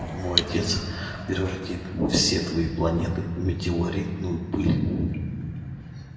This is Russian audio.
мой отец превратит все твои планеты в метеоритную пыль